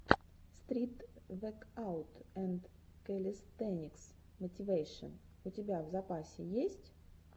стрит векаут энд кэлистэникс мотивэйшен у тебя в запасе есть